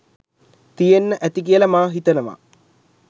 තියෙන්න ඇති කියලා මා හිතනවා.